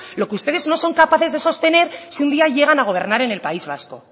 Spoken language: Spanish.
lo que ustedes no son capaces de sostener si un día llegan a gobernar en el país vasco